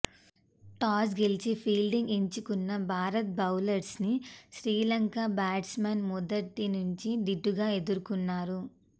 toss గెలిచి fielding ఎంచుకున్న Bharat bowlers ని శ్రీ లంక బాట్స్ మెన్స్ మొదటి నుంచి దీటుగా ఎదుర్కున్నారు